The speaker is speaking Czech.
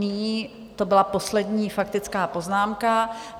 Nyní to byla poslední faktická poznámka.